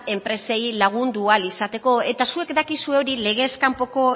enpresei lagundu ahal izateko eta zuek dakizue hori legez kanpoko